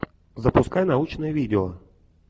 запускай научное видео